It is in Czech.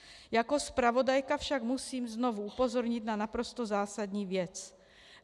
Jako zpravodajka však musím znovu upozornit na naprosto zásadní věc.